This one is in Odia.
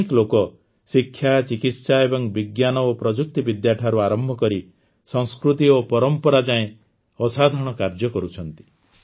ଅନେକ ଲୋକ ଶିକ୍ଷା ଚିକିତ୍ସା ଏବଂ ବିଜ୍ଞାନ ଓ ପ୍ରଯୁକ୍ତିବିଦ୍ୟା ଠାରୁ ଆରମ୍ଭ କରି ସଂସ୍କୃତି ଓ ପରମ୍ପରା ଯାଏଁ ଅସାଧାରଣ କାର୍ଯ୍ୟ କରୁଛନ୍ତି